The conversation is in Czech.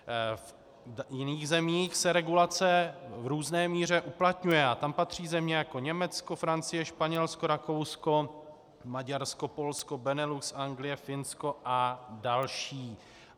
V jiných zemích se regulace v různé míře uplatňuje a tam patří země jako Německo, Francie, Španělsko, Rakousko, Maďarsko, Polsko, Benelux, Anglie, Finsko a další.